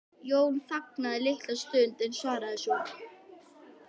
Jón þagði litla stund en svaraði svo